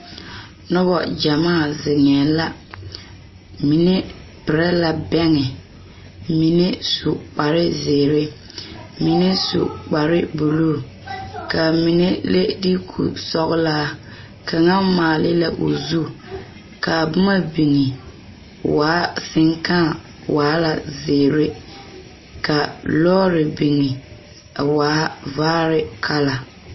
Noba gyamaa zeŋee la mine perɛ la bɛŋe mine su kpar zeere mine su kpar buluu kaa mine le dugo sɔgelɔ kaŋa maale la o zu kaa boma biŋ waa seŋkaa waa la zeere ka lɔɔre biŋ a waa vaare kala